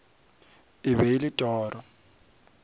e be e le toro